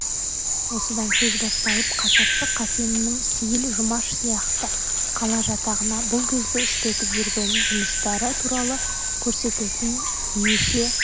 осыдан сөз басталып қасапшы қасеннің сейіл жұмаш сияқты қала жатағына бұл кезде істетіп жүрген жұмыстары туралы көрсететін неше